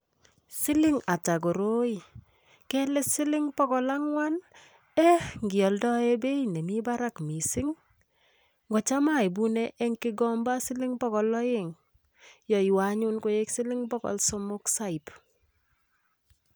Siling ata koroi? Kele siling bogol angwan ii? Eeh, ngialdoi beit nemi barak mising? Ngocham aibune eng kigomba siling bogol aeng, yaiywo anyun koek siling bogol somok saip.